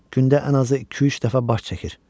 Gündə ən azı iki-üç dəfə baş çəkir.